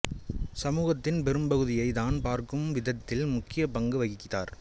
சமூகத்தின் பெரும்பகுதியை தான் பார்க்கும் விதத்தில் முக்கிய பங்கு வகித்தார்